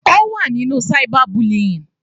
Ó wà nínú cyber bullying.